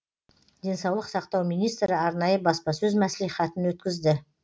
денсаулық сақтау министрі арнайы баспасөз мәслихатын өткізді